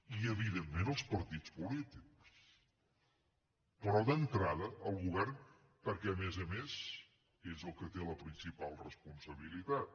i evidentment els partits polítics però d’entrada el govern perquè a més a més és el que hi té la principal responsabilitat